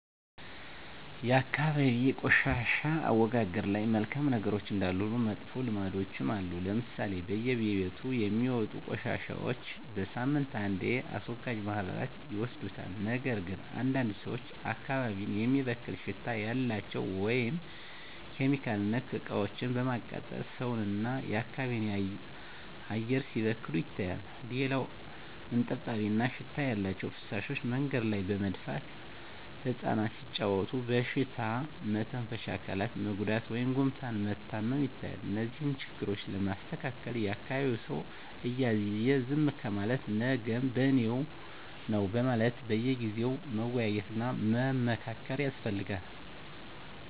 የአካባቢ የቆሻሻ አወጋገድ ላይ መልካም ነገሮች እንዳሉ ሁሉ መጥፎ ልምዶችም አሉ ለምሳሌ በየቤቱ የሚወጡ ቆሻሻዎች በሳምንት አንዴ አስወጋጅ ማህበራት ይወስዱታል ነገር ግን አንዳንድ ሰዎች አካባቢን የሚበክል ሽታ ያላቸው (ኬሚካል)ነክ እቃዎችን በማቃጠል ሰውን እና የአካባቢ አየር ሲበከል ይታያል። ሌላው እጥብጣቢ እና ሽታ ያላቸው ፍሳሾች መንገድ ላይ በመድፋት እፃናት ሲጫዎቱ በሽታ መተንፈሻ አካላት መጎዳት ወይም ጉፋን መታመም ይታያል። እነዚህን ችግሮች ለማስተካከል የአካቢዉ ሰው እያየ ዝም ከማለት ነገም በኔነው በማለት በየጊዜው መወያየት እና መመካከር ያስፈልጋል።